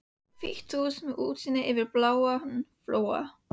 Hvítt hús með útsýni yfir bláan flóa.